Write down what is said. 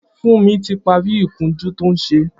Funmi ti pàrí ikùnjù tó n ṣé